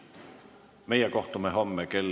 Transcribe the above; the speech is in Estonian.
Meie kohtume homme kell 10.